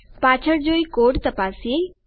ચાલો પાછળ જઈ કોડ તપાસીએ